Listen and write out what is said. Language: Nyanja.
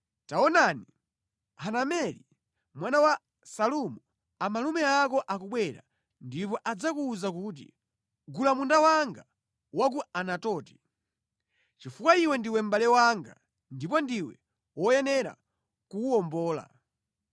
Taonani, Hanameli mwana wa Salumu, amalume ako akubwera ndipo adzakuwuza kuti, ‘Gula munda wanga wa ku Anatoti, chifukwa iwe ndiwe mʼbale wanga ndipo ndiwe woyenera kuwuwombola.’ ”